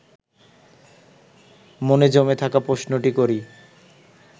মনে জমে থাকা প্রশ্নটি করি